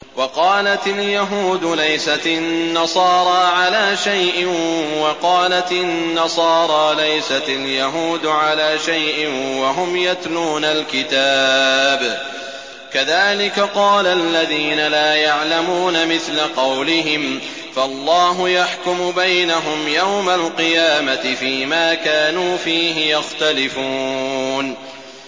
وَقَالَتِ الْيَهُودُ لَيْسَتِ النَّصَارَىٰ عَلَىٰ شَيْءٍ وَقَالَتِ النَّصَارَىٰ لَيْسَتِ الْيَهُودُ عَلَىٰ شَيْءٍ وَهُمْ يَتْلُونَ الْكِتَابَ ۗ كَذَٰلِكَ قَالَ الَّذِينَ لَا يَعْلَمُونَ مِثْلَ قَوْلِهِمْ ۚ فَاللَّهُ يَحْكُمُ بَيْنَهُمْ يَوْمَ الْقِيَامَةِ فِيمَا كَانُوا فِيهِ يَخْتَلِفُونَ